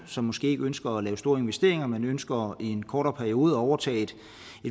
som måske ikke ønsker at lave store investeringer men ønsker i en kortere periode at overtage et